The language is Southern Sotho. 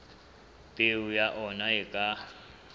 peo ya ona e ka